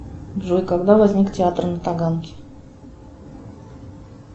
джой когда возник театр на таганке